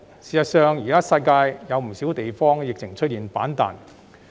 事實上，現時世界上不少地方的疫情均出現反彈。